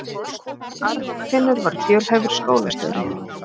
Arnfinnur var fjölhæfur skólastjóri.